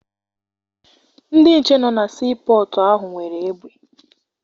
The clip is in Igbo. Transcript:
Ndị nche nọ na sii pọtụ ahụ nwere egbe.